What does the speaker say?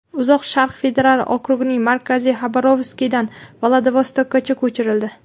Uzoq Sharq federal okrugining markazi Xabarovskdan Vladivostokka ko‘chirildi.